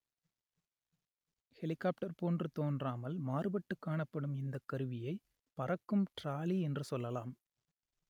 helicopter போன்று தோன்றாமல் மாறுபட்டு காணப்படும் இந்த கருவியை பறக்கும் டிராலி என்று சொல்லலாம்